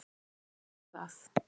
Jú, ég tek það.